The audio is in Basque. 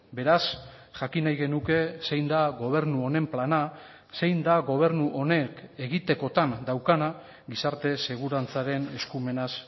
beraz jakin nahi genuke zein da gobernu honen plana zein da gobernu honek egitekotan daukana gizarte segurantzaren eskumenaz